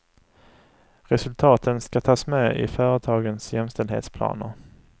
Resultaten ska tas med i företagens jämställdhetsplaner.